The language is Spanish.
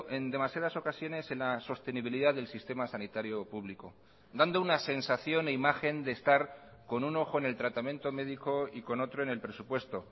en demasiadas ocasiones en la sostenibilidad del sistema sanitario público dando una sensación e imagen de estar con un ojo en el tratamiento médico y con otro en el presupuesto